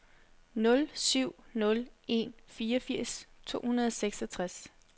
nul syv nul en fireogfirs to hundrede og seksogtres